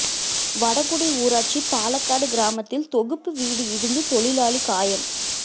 வடகுடி ஊராட்சி பாலக்காடு கிராமத்தில் தொகுப்பு வீடு இடிந்து தொழிலாளி காயம்